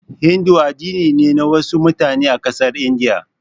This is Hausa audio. Hindu addini ne na wasu mutane a ƙasar India.